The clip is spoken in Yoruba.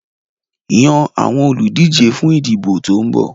Yan àwọn olùdíje fún ìdìbò tó ń bọ̀.